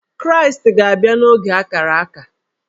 Kraịstị ga-abịa n’oge ákárà ákà